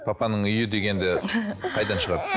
папаның үйі дегенді қайдан шығарды